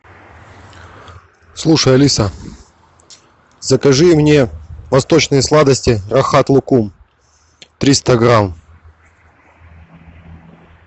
слушай алиса закажи мне восточные сладости рахат лукум триста грамм